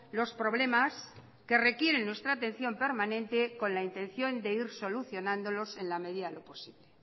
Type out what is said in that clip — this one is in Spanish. los problemas que requieren nuestra atención permanente con la intención de ir solucionándolos en la medida de lo posible